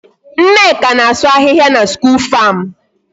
Nneka na-asụ ahịhịa na school farm.